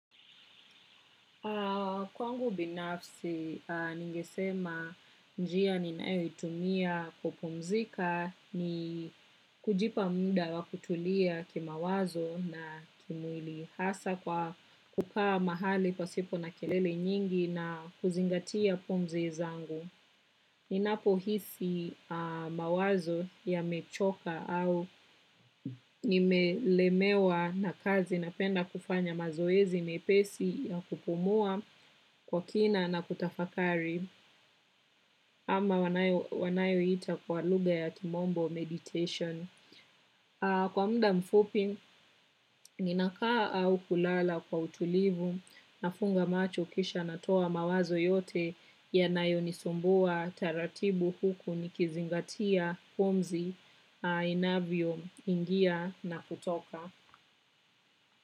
Kwangu binafsi, ningesema njia ni nayoitumia kupumzika ni kujipa muda wa kutulia kima wazo na kimwili hasa kwa kukaa mahali kwa sipo na kelele nyingi na kuzingatia pumzi zangu. Ninapo hisi mawazo ya mechoka au nimelemewa na kazi na penda kufanya mazoezi mepesi ya kupumua kwa kina na kutafakari ama wanayo hita kwa lugha ya kimombo meditation. Kwa mda mfupi, ninakaa au kulala kwa utulivu na funga macho kisha natoa mawazo yote yanayo nisumbua taratibu huku nikizingatia pumzi inavyo ingia na kutoka.